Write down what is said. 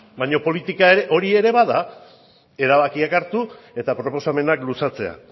baina polita ere hori ere bada erabakiak hartu eta proposamenak luzatzea